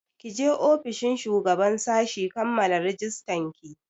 Ki je ofishin shugaban sashi kammala rajistan ki!